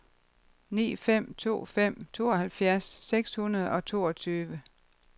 ni fem to fem tooghalvfjerds seks hundrede og toogtyve